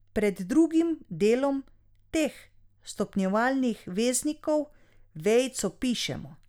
Pred drugim delom teh stopnjevalnih veznikov vejico pišemo.